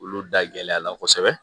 Olu da gɛlɛya la kosɛbɛ